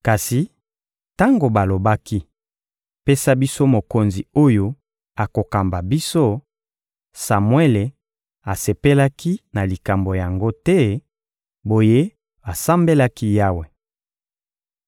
Kasi tango balobaki: «Pesa biso mokonzi oyo akokamba biso,» Samuele asepelaki na likambo yango te; boye asambelaki Yawe.